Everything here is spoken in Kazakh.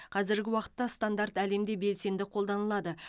қазіргі уақытта стандарт әлемде белсенді қолданылады